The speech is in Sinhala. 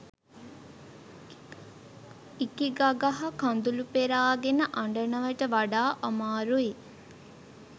ඉකිගගහ කදුලු පෙරාගෙන අඩනවට වඩා අමාරුයි